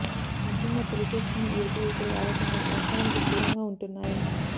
ముఖ్యంగా పెళ్ళి చేసుకునే యువతీ యువకులు ఆలోచనలు వాస్తవానికి దూరంగా ఉంటున్నాయి